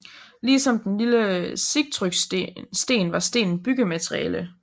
Ligesom den lille Sigtrygsten var stenen byggemateriale